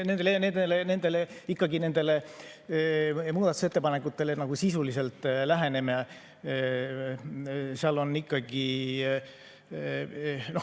No kui me ikkagi nendele muudatusettepanekutele sisuliselt läheneme, siis seal on siiski …